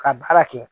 Ka baara kɛ